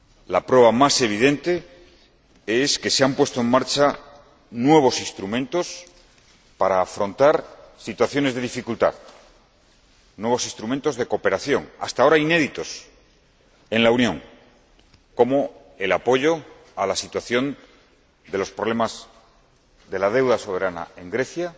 La prueba más evidente es que se han puesto en marcha nuevos instrumentos para afrontar situaciones de dificultad nuevos instrumentos de cooperación hasta ahora inéditos en la Unión, como el apoyo a la situación problemática de la deuda soberana en Grecia